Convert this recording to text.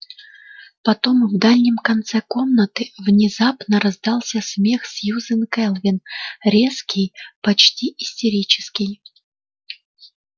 потом в дальнем конце комнаты внезапно раздался смех сьюзен кэлвин резкий почти истерический